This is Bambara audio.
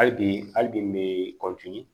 Hali bi hali bi n bɛ